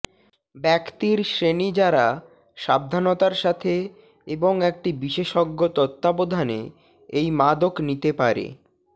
ব্যক্তির শ্রেণী যারা সাবধানতার সাথে এবং একটি বিশেষজ্ঞ তত্ত্বাবধানে এই মাদক নিতে পারে